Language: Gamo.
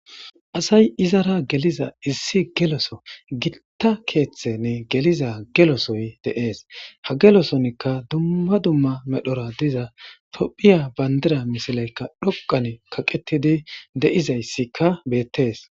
asay izara geliza issi geloso gitta keeththenne geliza gelosoy deees ha gelosonikka dumma dumma medhora diza tophiya bayndira misilaykka dhoqan kaqetidi deizayssikka beettees